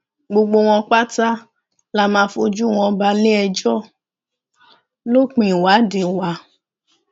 gbogbo wọn pátá la máa fojú wọn bale ẹjọ lópin ìwádìí wa